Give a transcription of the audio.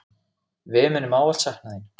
Við munum ávallt sakna þín.